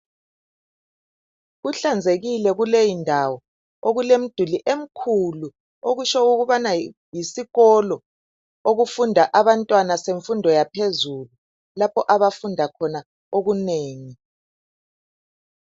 Kuhlanzekile kuleyindawo okulemduli emkhulu, okusho ukubana yisikolo okufunda abantwana semfundo yaphezulu lapho abafunda khona okunengi.